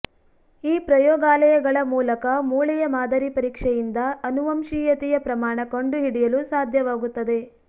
ಈ ಪ್ರಯೋಗಾಲಯಗಳ ಮೂಲಕ ಮೂಳೆಯ ಮಾದರಿ ಪರೀಕ್ಷೆಯಿಂದ ಅನುವಂಶೀಯತೆಯ ಪ್ರಮಾಣ ಕಂಡುಹಿಡಿಯಲು ಸಾಧ್ಯವಾಗುತ್ತದೆ